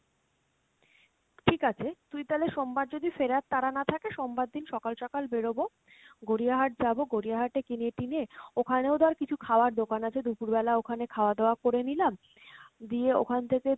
ঠিক আছে তুই তালে সোমবার যদি ফেরার তারা না থাকে, সোমবার দিন সকাল সকাল বেরোবো, গড়িয়া হাট যাবো গড়িয়া হাটে কিনে টিনে ওখানেও ধর কিছু খাওয়ার দোকান আছে, দুপুরে বেলাই ওখানে খাওয়া দাওয়া করে নিলাম, দিয়ে ওখান থেকে